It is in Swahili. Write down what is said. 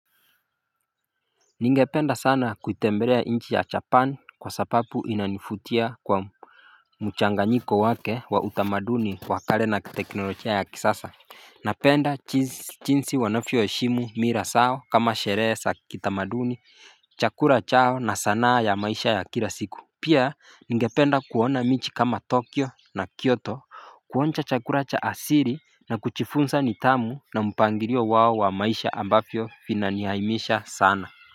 Ningependa sana kuitembelea nchi ya japani kwa sababu inanivutia kwa mchanganyiko wake wa utamaduni wa kale na teknolojia ya kisasa Napenda jinsi wanavyoheshimu mila zao kama sherehe za kitamaduni chakula chao na sanaa ya maisha ya kila siku Pia ningependa kuona mijii kama tokyo na kyoto kuonja chakula cha asili na kujifunza nidhamu na mpangilio wao wa maisha ambavyo vinanihaimisha sana.